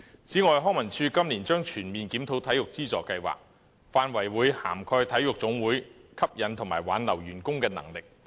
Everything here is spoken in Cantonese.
此外，康樂及文化事務署今年將全面檢討體育資助計劃，範圍涵蓋體育總會吸引和挽留員工的能力。